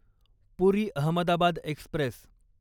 पुरी Ahmedabad Express